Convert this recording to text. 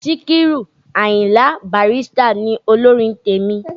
Síkírù Àyìndé Bàrístà ni olórin tèmi.